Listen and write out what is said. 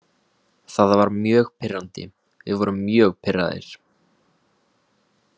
Það var mjög pirrandi, við vorum mjög pirraðir.